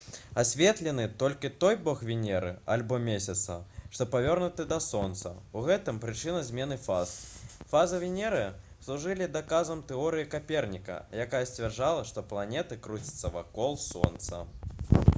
асветлены толькі той бок венеры альбо месяца што павернуты да сонца — у гэтым прычына змены фаз. фазы венеры служылі доказам тэорыі каперніка якая сцвярджала што планеты круцяцца вакол сонца